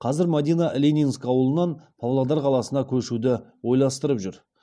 қазір мадина ленинск ауылынан павлодар қаласына көшуді ойластырып жүр